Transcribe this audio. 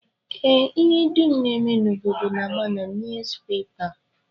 Ee, ihe dum na-eme n'obodo na-agba na nuuzpepa